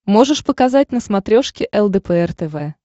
можешь показать на смотрешке лдпр тв